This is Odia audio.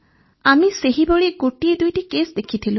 ଆମେ ସେହିଭଳି ଗୋଟିଏ ଦୁଇଟି କେସ୍ ଦେଖିଥିଲୁ